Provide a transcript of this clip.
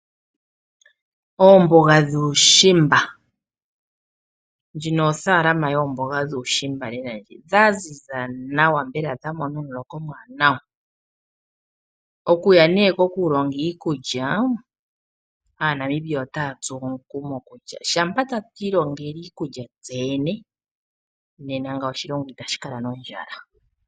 Oomboga dhuushimba, ndjino ofaalama yoomboga dhuushimba lela ndji dha ziza nawa mbela dha mona omuloka omuwanawa. Okuya nee kokulonga iikulya aaNamibia otaa tsuwa omukumo kutya shampa tatu ilongele iikulya kutse yene nena ngawo oshilongo itashi kala nondjala.